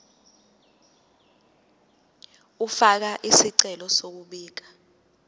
ukufaka isicelo sokubika